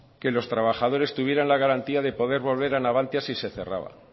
que los trabajadores tuvieran la garantía de poder volver a navantia si se cerraba